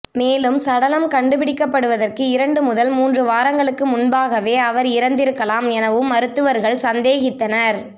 மேலும் சடலம் கண்டுபிடிக்கப்படுவதற்கு இரண்டு முதல் மூன்று வாரங்களுக்கு முன்பாகவே அவர் இறந்திருக்கலாம் எனவும் மருத்துவர்கள் சந்தேகித்தனர்